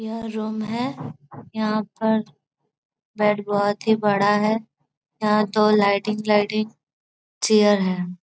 यह रूम है यहां पर बेड बहुत ही बड़ा है यहां दो लिए लाइटिंग लाइटिंग चेयर है।